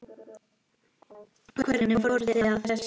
Hvernig fóruð þið að þessu?